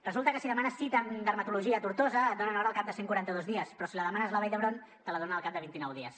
resulta que si demanes cita en dermatologia a tortosa et donen hora al cap de cent i quaranta dos dies però si la demanes a la vall d’hebron te la donen al cap de vint nou dies